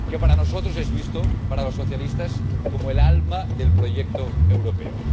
Que para nosotros es visto, para los socialistas, como el alma del proyecto europeo.